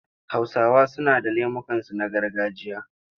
Hausawa suna da lemukansu na gargajiya.